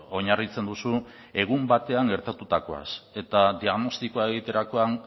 oinarritzen duzu egun batean gertatutakoaz eta diagnostikoa egiterakoan